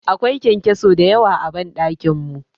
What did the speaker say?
Akwai kyankyaso dayawa a ban dakin mu.